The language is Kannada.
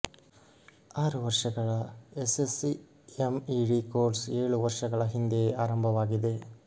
ಆರು ವರ್ಷಗಳ ಎಸ್ಎಸ್ಸಿ ಎಂಇಡಿ ಕೋರ್ಸ್ ಏಳು ವರ್ಷಗಳ ಹಿಂದೆಯೇ ಆರಂಭವಾಗಿದೆ